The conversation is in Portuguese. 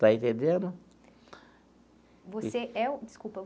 Está entendendo? Você é o...desculpa